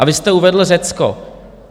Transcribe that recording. A vy jste uvedl Řecko.